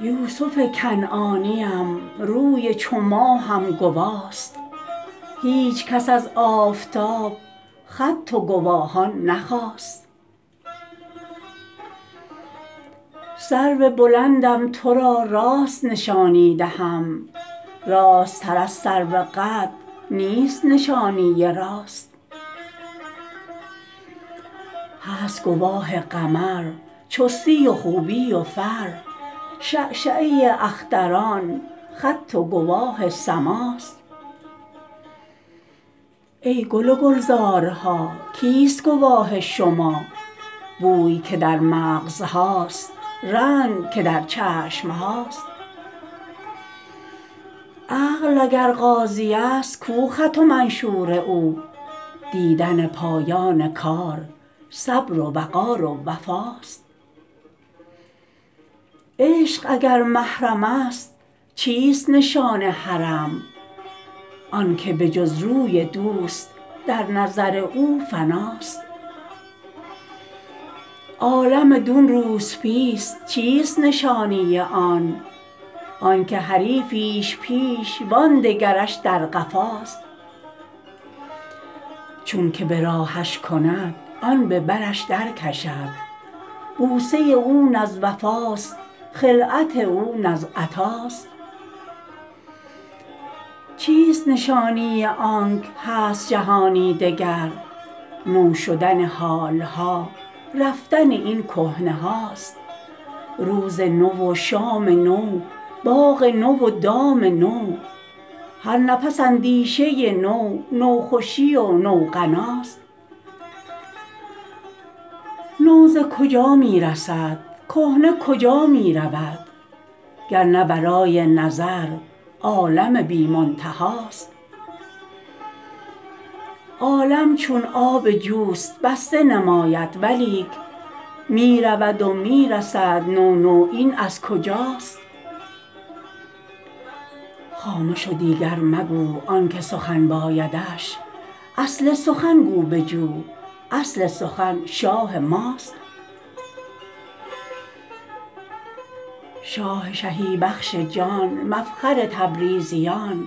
یوسف کنعانیم روی چو ماهم گواست هیچ کس از آفتاب خط و گواهان نخواست سرو بلندم تو را راست نشانی دهم راستتر از سروقد نیست نشانی راست هست گواه قمر چستی و خوبی و فر شعشعه اختران خط و گواه سماست ای گل و گلزارها کیست گواه شما بوی که در مغزهاست رنگ که در چشم هاست عقل اگر قاضیست کو خط و منشور او دیدن پایان کار صبر و وقار و وفاست عشق اگر محرم است چیست نشان حرم آنک به جز روی دوست در نظر او فناست عالم دون روسپیست چیست نشانی آن آنک حریفیش پیش و آن دگرش در قفاست چونک به راهش کند آن به برش درکشد بوسه او نه از وفاست خلعت او نه از عطاست چیست نشانی آنک هست جهانی دگر نو شدن حال ها رفتن این کهنه هاست روز نو و شام نو باغ نو و دام نو هر نفس اندیشه نو نوخوشی و نوغناست نو ز کجا می رسد کهنه کجا می رود گر نه ورای نظر عالم بی منتهاست عالم چون آب جوست بسته نماید ولیک می رود و می رسد نو نو این از کجاست خامش و دیگر مگو آنک سخن بایدش اصل سخن گو بجو اصل سخن شاه ماست شاه شهی بخش جان مفخر تبریزیان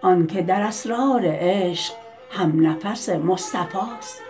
آنک در اسرار عشق همنفس مصطفاست